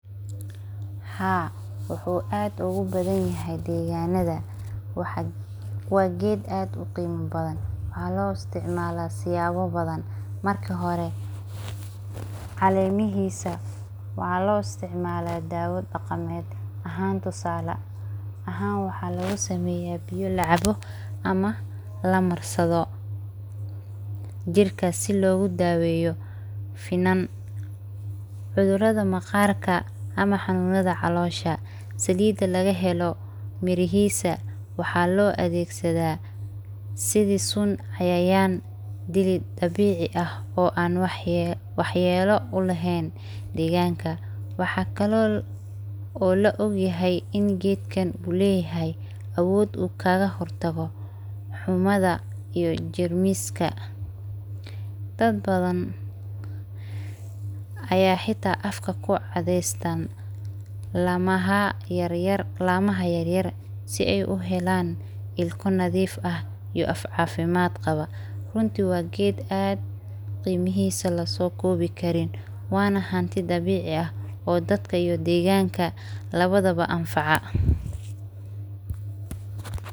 Haa wuxu aad ogubadanyahay deganada, waa ged aad uqima badhan, waxa loo istamala siyabo badhan marki hore calemihisa waxa loo istacmala dawo daqamed, waxan waxa lagasameya biyo lacabo amah lamarsado jirka, sii logu dabeyo finan, cudurada maqarka ama xanunada calosha, salida lagahelo mirihisa waxa loo adegsada sidhi sun cayayan dili dabici ah oo an waxyelo ulehen, deganka waxa kale oo laa ogyahay gedkan uleyahay awood ukaga hortago xumada iyo jermiska, dad badhan aya xita afka kacadeysan lamaaha yaryar sii ay uhelan ilka nadif ah iyo aaf cafimad qabaa, runtii waa geed horta qimihisa lasokobi karin, wanaa hanti dabicii ah iyo dadka iyo deganka labada baa anfaca.